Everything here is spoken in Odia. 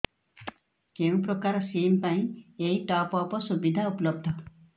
କେଉଁ ପ୍ରକାର ସିମ୍ ପାଇଁ ଏଇ ଟପ୍ଅପ୍ ସୁବିଧା ଉପଲବ୍ଧ